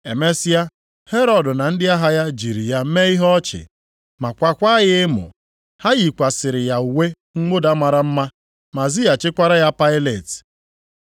Emesịa, Herọd na ndị agha ya jiri ya mee ihe ọchị, ma kwaakwa ya emo. Ha yikwasịrị ya uwe mwụda mara mma ma zighachikwara ya Pailet.